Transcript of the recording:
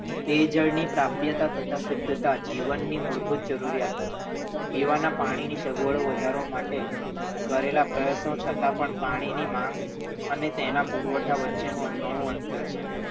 તે જળની પ્રાપ્તિ તથા શુદ્ધતા જીવનની મૂળભૂત જરૂરિયાતો છે પીવાના પાણીની સગવડો વધારવા માટે કરેલા પ્રયત્નો છતાં પણ પાણીની માગ અને તેના પુરવઠા પણ વચ્ચેનું ઘણું અંતર છે.